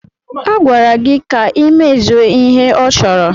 A gwara gị ka ị mezuo ihe a chọrọ!